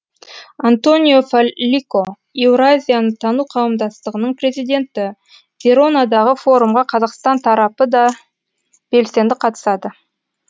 антонио фаллико еуразияны тану қауымдастығының президенті веронадағы форумға қазақстан тарапы да белсенді қатысады